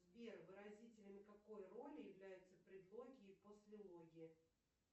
сбер выразителями какой роли являются предлоги и послелоги